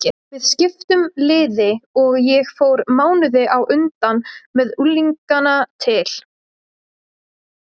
Við skiptum liði og ég fór mánuði á undan með unglingana til